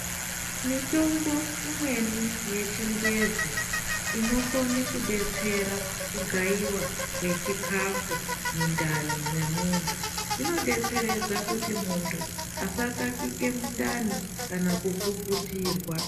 Mitombo imweni yechingezi, inokone kudetsera kugayiwa kwechikafu mundani mwemuntu, inodetseredza kuti muntu asakakike mundani kana kufufutirwa.